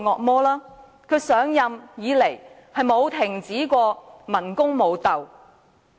自梁振英上任以來，從未停止過文攻武鬥。